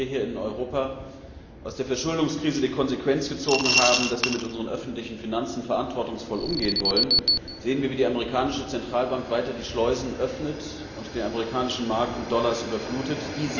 Während wir hier in Europa aus der Verschuldungskrise die Konsequenz gezogen haben, dass wir mit unseren öffentlichen Finanzen verantwortungsvoll umgehen wollen, sehen wir, wie die amerikanische Zentralbank weiter die Schleusen öffnet und den amerikanischen Markt mit Dollars überflutet.